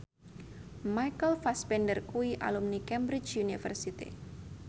Michael Fassbender kuwi alumni Cambridge University